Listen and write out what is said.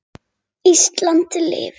Ísland lifi.